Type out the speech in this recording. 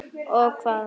Og hvað?